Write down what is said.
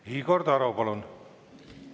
Igor Taro, palun!